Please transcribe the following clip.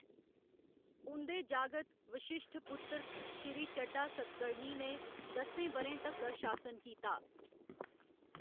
उं'दे जागत वशिश्ठपुत्र श्री चड्ढा सतकर्णी ने दस्सें ब'रें तक्कर शासन कीता।